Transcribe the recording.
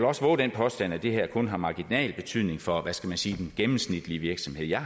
også vove den påstand at det her kun har marginal betydning for hvad skal man sige den gennemsnitlige virksomhed jeg